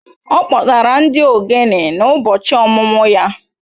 Ọ kpọtara ndị egwu ogene n'ụbọchị ọmụmụ ya